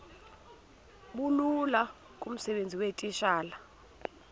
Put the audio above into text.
bulula kumsebenzi weetitshala